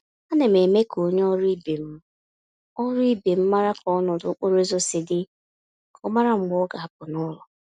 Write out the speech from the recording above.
Ánám eme k'onye ọrụ ibe m ọrụ ibe m màrà ka ọnọdụ okporo ụzọ si dị, ka ọ mara mgbe ọ ga-apụ n'ụlọ.